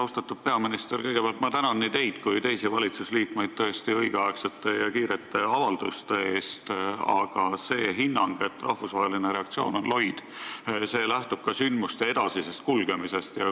Austatud peaminister, kõigepealt ma tõesti tänan nii teid kui teisi valitsusliikmeid õigeaegsete ja kiirete avalduste eest, aga see hinnang, et rahvusvaheline reaktsioon on loid, lähtub sündmuste edasisest kulgemisest.